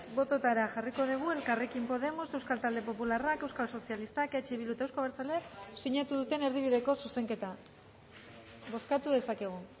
bototara jarriko dugu elkarrekin podemos euskal talde popularrak euskal sozialistak eh bildu eta euzko abertzaleak sinatu duten erdibideko zuzenketa bozkatu dezakegu